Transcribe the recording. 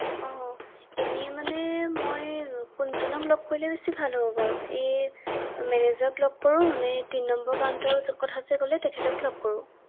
অ এনেই মানে মই কোনজনক লগ কৰিলে বেছি ভাল হ’ব বাৰু এ মেনেজেৰক লগ কৰো নে তিন নম্বৰ কাউন্টাৰৰ কথা যে ক’লে তেখেতক লগ কৰো ৷